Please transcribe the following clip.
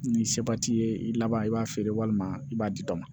Ni seba t'i ye i laban i b'a feere walima i b'a di dɔ ma